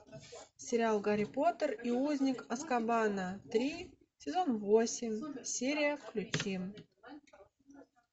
сериал гарри поттер и узник азкабана три сезон восемь серия включи